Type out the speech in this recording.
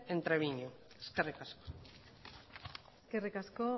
en trebiñu eskerrik asko eskerrik asko